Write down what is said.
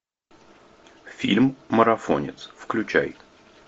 фильм марафонец включай